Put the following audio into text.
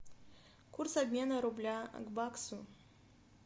курс обмена рубля к баксу